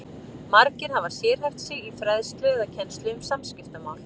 Margir hafa sérhæft sig í fræðslu eða kennslu um samskiptamál.